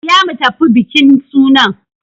Shirya mu tafi bikin sunan!